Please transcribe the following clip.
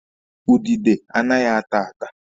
Udide anaghị ata ata.